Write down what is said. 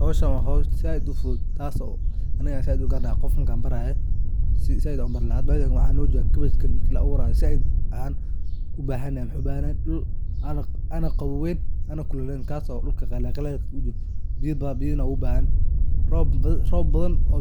Howshan waa howl zaid u fudud ,taso aniga garanaya qof markan barayo zaid baan u barii laha ,hada meshan kabash aa la berayaa dhul wuxu u bahan yahay ana kululen ana qawowen ,dhulka qalal u jiro, biyana wuu u bahan yahay rob